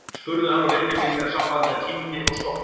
spurði hann og leit til mín með samblandi af kímni og storkun.